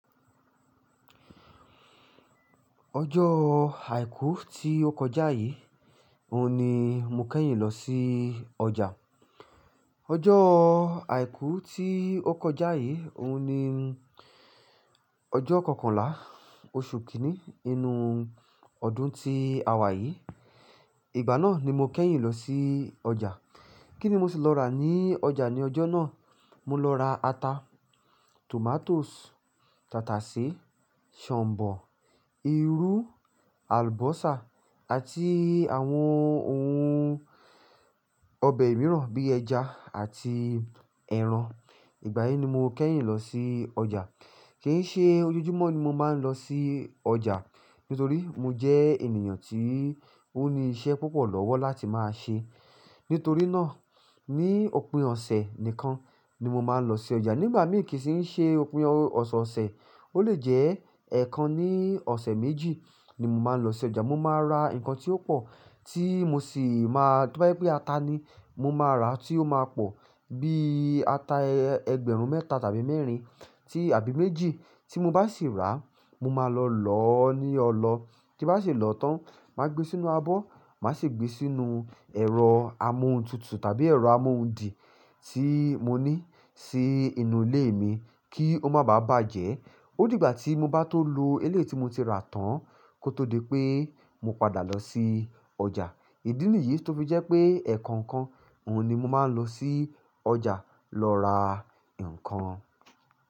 Ọjọ́ Àìkú tí ó kọjá yìí, òun ni mo kẹ́yìn lọ sí ọjà. Ọjọ́ Àìkú tí ó kọjá yìí, òun ni ọjọ́ kọkànlá oṣù kìíní inú ọdún ti àwà yìí. Ìgbà náà ni mo kẹ́yìn lọ sí ọjà. Kíni mo sì lọ rà ní ọjà ní ọjọ́ náà? Mo lọ ra ata, tomatoes, tàtàsé, ṣọ̀ǹbọ̀, irú, àlùbọ́sà àti àwọn ohun ọbẹ̀ mìíràn bí ẹja àti ẹran. Ìgbà yìí ni mo kẹ́yìn lọ sí ọjà. Kì í ṣe ojoojúmọ́ ni mo máa ń lọ sí ọjà nítorí mo jẹ́ ènìyàn tí ó ní iṣẹ́ púpọ̀ lọ́wọ́ láti máa ṣe. Nítorí náà ní òpin ọ̀sẹ̀ nìkan ni mo máa ń lọ sí ọjà. Nígbà mìíràn kì í ṣe ópin ọ̀sọ̀ọ̀sẹ̀, ó lè jẹ́ ẹ̀ kan ní ọ̀sẹ̀ méjì ni mo máa ń lọ sí ọjà. Mo máa ra nǹkan tí ó pọ̀ tí mo sì máa-- tó bá jẹ́ pé ata ni mo máa rà tí ó máa pọ̀ bí ata ẹgbẹ̀rún mẹ́ta tàbí mẹ́rin ti àbí méjì. Tí mo bá sì rà á, mo máa lọ lọ́ ọ ní ọlọ. Tí bá sì lọ tán, màá gbé sínú abọ́, màá sì gbé sínú ẹ̀rọ amọ́huntutù tàbí ẹ̀rọ amọ́hundì tí mo ní sí inú ilé mi kí ó máa bà bàjẹ́. Ó di ìgbà tí mo bá tó lo elé ti mo ti rà tán kó tó di pé mo padà lọ sí ọjà. Ìdí nìyí tó fi jẹ́ pé ẹ̀ẹ̀kọ̀kan òun ni mo máa ń lọ sí ọjà lọ ra nǹkan.